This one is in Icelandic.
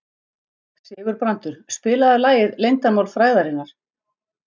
Sigurbrandur, spilaðu lagið „Leyndarmál frægðarinnar“.